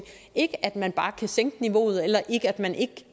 ikke at man bare kan sænke niveauet eller at man ikke